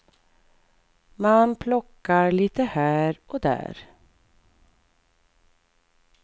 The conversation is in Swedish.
Man plockar lite här och där.